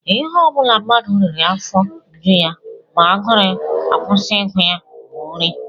Ihe ọ bụla mmadụ riri afọ eju ya ma agụrụ akwụsị ịgụ ya bụ nri